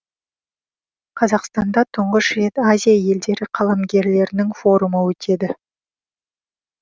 қазақстанда тұңғыш рет азия елдері қаламгерлерінің форумы өтеді